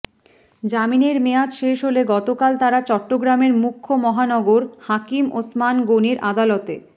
জামিনের মেয়াদ শেষ হলে গতকাল তারা চট্টগ্রামের মুখ্য মহানগর হাকিম ওসমান গণির আদালতে